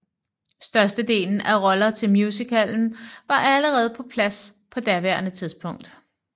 Størstedelen af roller til musicalen var allerede på plads på daværende tidspunkt